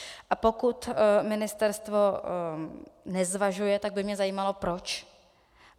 A pokud ministerstvo nezvažuje, tak by mě zajímalo proč.